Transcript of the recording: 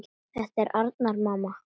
Þetta er Arnar, mamma!